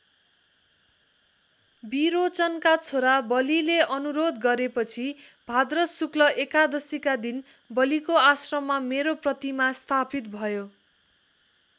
विरोचनका छोरा बलिले अनुरोध गरेपछि भाद्र शुक्ल एकादशीका दिन बलिको आश्रममा मेरो प्रतिमा स्थापित भयो।